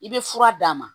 I bɛ fura d'a ma